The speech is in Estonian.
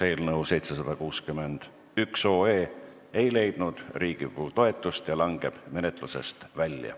Eelnõu 761 ei leidnud Riigikogu toetust ja langeb menetlusest välja.